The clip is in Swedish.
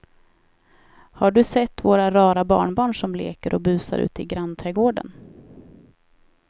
Har du sett våra rara barnbarn som leker och busar ute i grannträdgården!